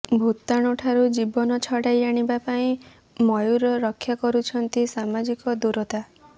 ଭୂତାଣୁ ଠାରୁ ଜୀବନ ଛଡ଼ାଇ ଆଣିବା ପାଇଁ ମୟୂର ରକ୍ଷା କରୁଛନ୍ତି ସାମାଜିକ ଦୂରତା